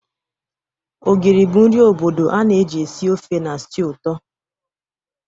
Ogiri bụ nri obodo a na-eji esi ofe na stew ụtọ.